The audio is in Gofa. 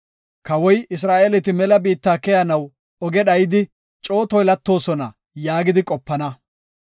Kawoy, ‘Isra7eeleti mela biitta keyanaw oge dhayidi coo toylatoosona’ yaagidi qopana.